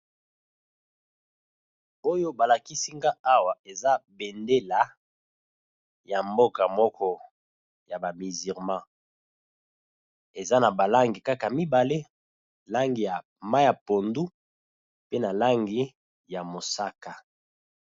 Oyo ba lakisi nga awa eza bendela ya mboka moko ya ba musulman, eza na ba langi kaka mibale langi ya mayi ya pondu pe na langi ya mosaka.